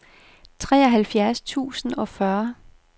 treoghalvfjerds tusind og fyrre